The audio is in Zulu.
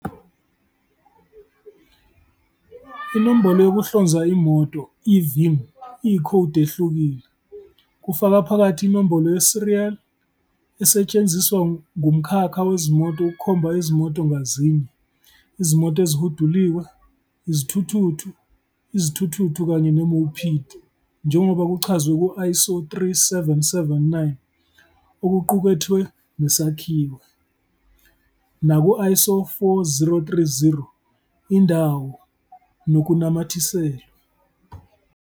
Inombolo yokuhlonza imoto, i-VIN, iyikhodi ehlukile, kufaka phakathi inombolo ye-serial, esetshenziswa ngumkhakha wezimoto ukukhomba izimoto ngazinye, izimoto ezihuduliwe, izithuthuthu, izithuthuthu kanye ne-mopeed, njengoba kuchazwe ku-ISO 3779, okuqukethwe nesakhiwo, naku-ISO 4030, indawo nokunamathiselwe.